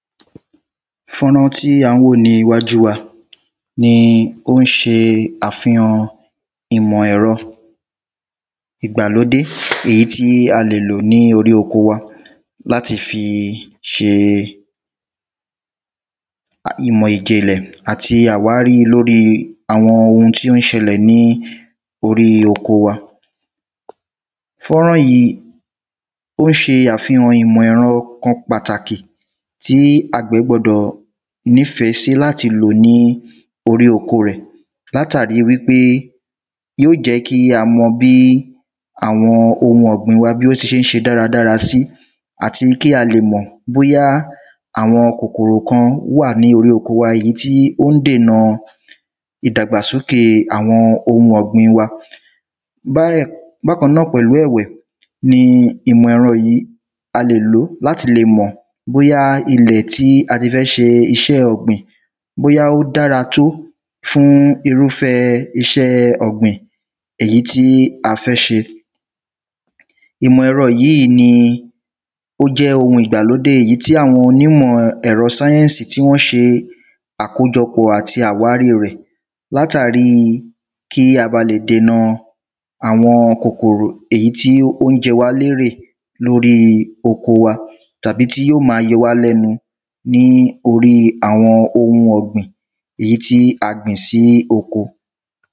fọ́nrán tí à ń wò níwájú wa ni ó ń se àfihàn ìmọ̀ ẹ̀rọ ìgbàlódé èyí tí a lè lò ní orí oko wa láti fi se ìmọ̀ ìjìnlẹ̀ àti àwárí lóri àwọn oun tí ó ń ṣẹlẹ̀ ní orí oko wa, fọ́nrán yíì, ó ń se àfihàn ìmọ̀ ẹ̀rọ kan pàtàkì tí àgbẹ̀ gbọdọ̀ nîfẹ́ sí láti lò ní orí oko rẹ̀, látàrí wípé yóò jẹ́ kí a mọ bí àwọn oun ọ̀gbìn wa, bí ó ti se ń se dáradára si, àti kí a lè mọ bóyá àwọn kòkòrò kan wáà ní orí oko wa, èyí tí ó ń dènà ìdàgbàsókè àwọn oun ọ̀gbìn wa, bákan náà pẹ̀lú ẹ̀wẹ̀ ni ìmọ̀ ẹ̀rọ yìí, a lè lòó láti le mọ̀ bóyá ilẹ̀ tí a ti fẹ́ se isẹ́ ọ̀gbìn, bóyá ó dára tó fún irúfẹ́ isẹ́ ọ̀gbìn, èyí tí a fẹ́ se, ìmọ̀ ẹ̀rọ yìí ni jẹ́ oun ìgbàlódé èyí tí àwọn onímọ̀ ẹ̀rọ science, tí wọ́n se àkójọpọ̀ àti àwárí rẹ̀ látàríi kí a ba lè dènà àwọn kòkòrò èyí tí ó ní jẹ wá lérè lórí oko wa tàbí tí yó ma yo wá lẹ́nu ní oríi àwọn oun ọ̀gbìn èyí tí a gbìn sí oko.